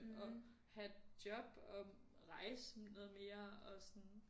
Og have job og rejse noget mere og sådan